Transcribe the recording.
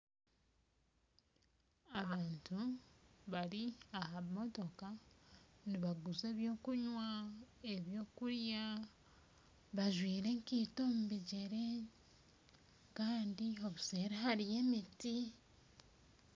Abantu bari ahamootoka nibaguza ebyokurya nebyokunywa bajwaire enkaito omubigyere Kandi obuseeri hariyo emiti